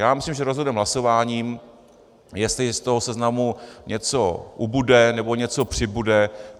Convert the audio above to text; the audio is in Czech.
Já myslím, že rozhodneme hlasováním, jestli z toho seznamu něco ubude nebo něco přibude.